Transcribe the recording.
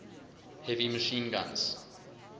heavy machine guns